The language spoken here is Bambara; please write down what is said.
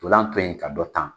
ndolan to yen ka dɔ tan.